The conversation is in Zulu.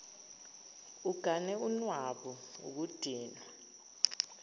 ugane unwabu ukudinwa